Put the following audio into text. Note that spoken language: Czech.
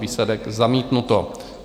Výsledek: zamítnuto.